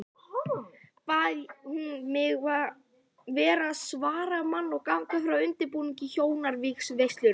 Bað hún mig vera svaramann og ganga frá undirbúningi hjónavígslunnar.